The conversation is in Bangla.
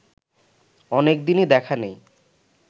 অনেকদিনই দেখা নেই